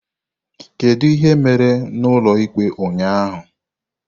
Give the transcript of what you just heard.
Kedu ihe mere n'ụlọikpe ụnyaahụ?